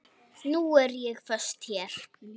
Nú er ég föst hér.